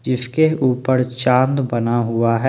जिसके ऊपर चांद बना हुआ है।